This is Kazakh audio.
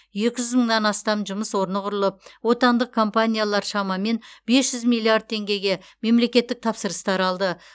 екі жүз мыңнан астам жұмыс орны құрылып отандық компаниялар шамамен бес жүз миллиард теңгеге мемлекеттік тапсырыстар алды